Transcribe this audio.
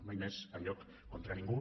mai més enlloc contra ningú